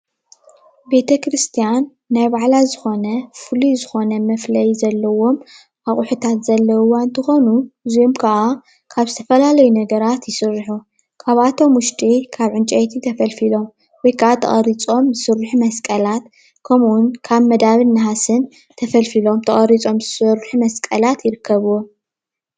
ቤተክርስትያን ናይ ባዕላ ዝኾነ ፍሉይ ዝኾነ መፍለዪ ዘለዎም ኣቑሑታት ዘለዉዋ እንትኾኑ እዚኦም ክዓ ካብ ዝተፈላለዩ ነገራት ይስርሑ። ካብኣቶም ዉሽጢ ካብ ዕንጨይቲ ተፈልፊሎም ወይ ክዓ ተቀሪፆም ዝስርሑ መስቀላት ከምኡ፣ ዉን ካብ መዳብን ነሃስን ተፈልፊሎም ተቀሪፆም ዝስርሑ መስቀላት ይርከብዎም።